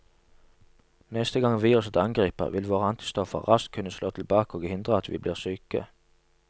Neste gang viruset angriper, vil våre antistoffer raskt kunne slå tilbake og hindre at vi blir syke.